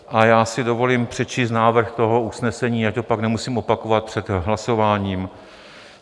A já si dovolím přečíst návrh toho usnesení, ať to pak nemusím opakovat před hlasováním.